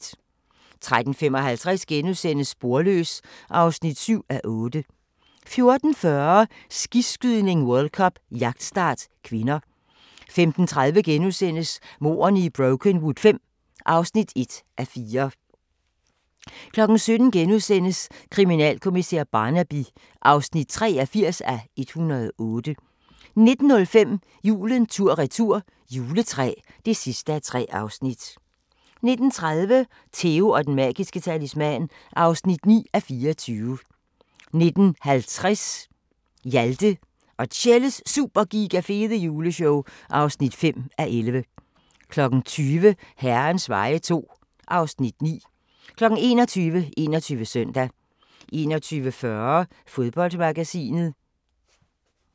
13:55: Sporløs (7:8)* 14:40: Skiskydning: World Cup - jagtstart (k) 15:30: Mordene i Brokenwood V (1:4)* 17:00: Kriminalkommissær Barnaby (83:108)* 19:05: Julen tur-retur – juletræ (3:3) 19:30: Theo & den magiske talisman (9:24) 19:50: Hjalte og Tjelles Super Giga Fede Juleshow (5:11) 20:00: Herrens veje II (Afs. 9) 21:00: 21 Søndag 21:40: Fodboldmagasinet